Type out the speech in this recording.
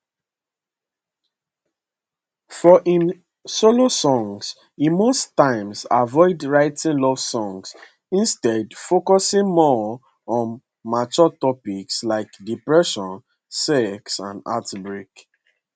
for im solo songs e most times avoid writing love songs instead focusing more on mature topics like depression sex and heartbreak